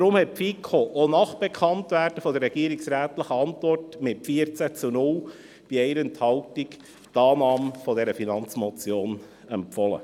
Deshalb hat die FiKo auch nach Bekanntwerden der Antwort der Regierung mit 14 Ja- zu 0 Nein-Stimmen bei 1 Enthaltung die Annahme dieser Finanzmotion empfohlen.